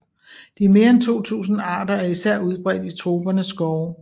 De mere end 2000 arter er især udbredt i tropernes skove